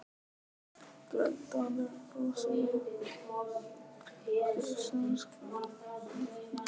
Grænn dalurinn brosir við okkur í sumarskrúðanum.